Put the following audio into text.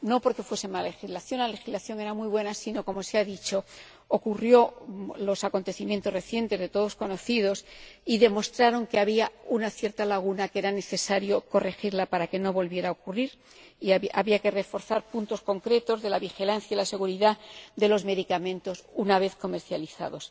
No porque fuese mala legislación —la legislación era muy buena—, sino porque, como se ha dicho, ocurrieron los acontecimientos recientes, de todos conocidos, y demostraron que había una cierta laguna que era necesario corregir para que no volviera a ocurrir, y había que reforzar puntos concretos de la vigilancia y la seguridad de los medicamentos una vez comercializados.